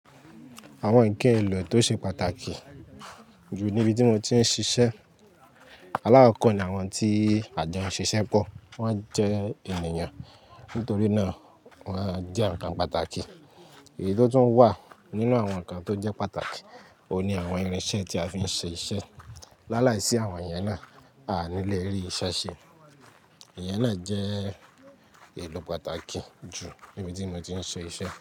Àwọn ǹkan èlò tó ṣe pàtàkì jù níbi tí mo ti ń ṣiṣẹ́. Alákọ̀ọ́ ni àwọn tí àjọ ń ṣiṣẹ́ pọ̀. Wọ́n jẹ́ ènìyàn. Nítorí náà, wọ́n jẹ́ ǹkan pàtàkì. Èyí tó tún wà nínú àwọn ǹkan tó jẹ́ pàtàkì, òun ni àwọn irinṣẹ́ tí a fi ń ṣe iṣẹ́. Lálàíṣì àwọn yẹn náà, a ní le rì isẹ́ ṣe. Ìyẹn náà jẹ́ èlò pàtàkì jù níbi tí mo ti ń ṣe iṣẹ́.